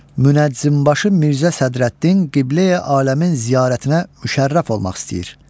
Münəccimbaşı Mirzə Sədrəddin Qibləyi Aləmin ziyarətinə müşərrəf olmaq istəyir.